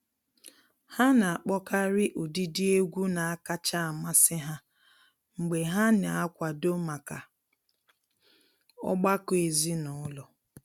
Ha na-akpọkarị ụdịdị egwu na-akacha amasị ha mgbe ha na-akwado maka ọgbakọ ezinụlọ.